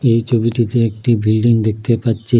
এই ছবিটিতে একটি বিল্ডিং দেখতে পাচ্ছি।